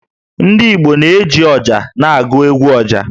Ndị Igbo na-eji ọjà na-agụ 'egwu ọjà'.